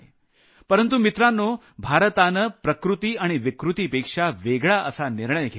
परंतु मित्रांनो भारतानं प्रकृती आणि विकृतीपेक्षा वेगळा असा निर्णय घेतला